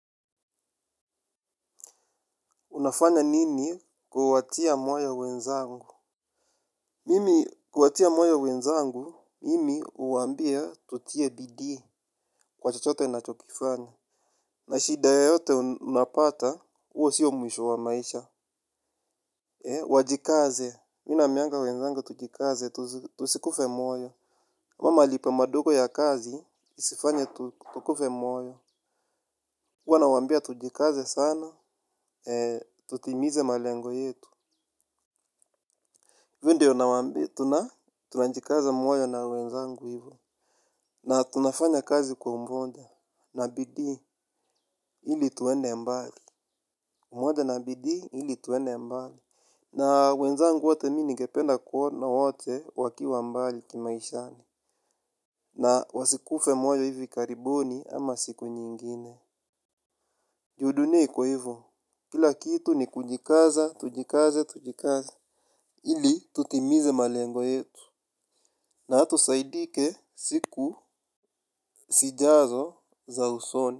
Unafanya nini kuwatia moyo wenzangu? Mimi huwatia moyo wenzangu, mimi huwa ambia tutie bidii kwa chochote wanacho kifanya. Na shida yoyote unapata, huo sio mwisho wa maisha. Wajikaze, mimi naambianga wenzangu tujikaze, tusikufe moyo. Haya malipo madogo ya kazi, isifanya tukufe moyo. Huwa nawambia tujikaze sana, tutimize malengo yetu. Hivi ndio nawambia tuna, tunajikaza moyo na wenzangu hivo. Na tunafanya kazi kwa umoja na bidii, ili tuende mbali. Umoja na bidi, ili tuende mbali. Na wenzangu wote mimi ningependa kuona wote wakiwa mbali kimaishani. Na wasikufe moyo hivi karibuni ama siku nyingine. Juu dunia iko hivo, kila kitu ni kujikaza, tujikaze, tujikaze. Ili tutimize malengo yetu. Na hata usaidike siku zijazo za usoni.